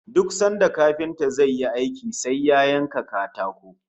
Duk sanda kafinta zai yi aiki sai ya yanka katako